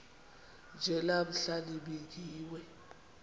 nje namhla nibingiwe